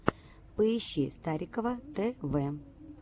поищи старикова т в